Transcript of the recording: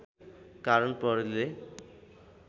कारण प्रहरीले